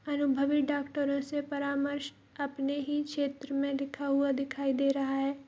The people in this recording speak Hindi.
अनुभवी डॉक्टरों से परामर्श अपने ही क्षेत्र में लिखा हुआ दिखाई दे रहा है।